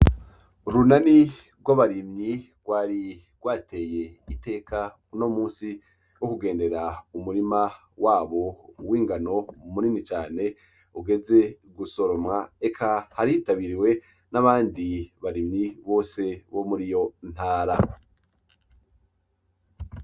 Urunani rw'abarimyi rwari rwateye iteka uno musi wo kugendera umurima wabo w'ingano munini cane ugeze gusoromwa eka kari hitabiriwe n'abandi barimyi bose bo muriyo ntara.